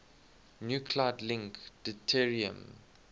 nuclide link deuterium